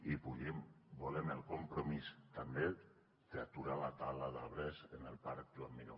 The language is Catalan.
i volem el compromís també d’aturar la tala d’arbres en el parc joan miró